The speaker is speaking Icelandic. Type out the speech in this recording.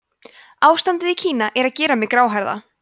ástandið í kína er að gera mig gráhærða